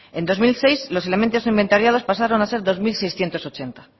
en dos mil seis los elementos inventariados pasaron a ser dos mil seiscientos ochenta